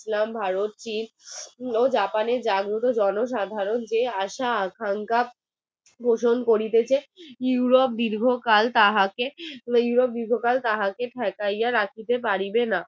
শোষণ করিতেছে europe দীর্ঘকাল তাহাকে তাহাকে ঠেকাইয়া রাখিতে পারিবে না